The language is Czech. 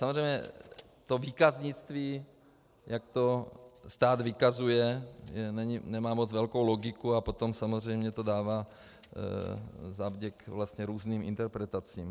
Samozřejmě to výkaznictví, jak to stát vykazuje, nemá moc velkou logiku a potom samozřejmě to dává zavděk vlastně různým interpretacím.